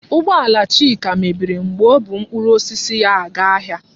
Ụgbọala Chika mebiri oge ọ bụ mkpụrụ osisi ya aga ahịa.